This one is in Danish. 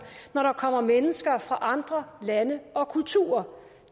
når der kommer mennesker fra andre lande og kulturer